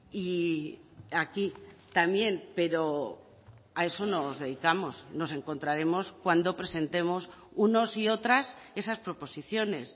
y aquí también pero a eso nos dedicamos nos encontraremos cuando presentemos unos y otras esas proposiciones